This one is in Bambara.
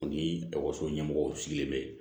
Ni ekɔliso ɲɛmɔgɔw sigilen bɛ yen